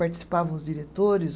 Participavam os diretores,